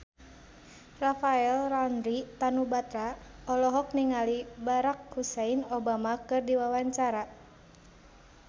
Rafael Landry Tanubrata olohok ningali Barack Hussein Obama keur diwawancara